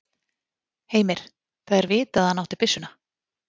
Heimir: Það er vitað að hann átti byssuna?